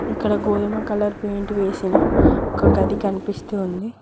ఇక్కడ గోధుమ colour paint వేసిన ఒక గది కనిపిస్తూ ఉంది.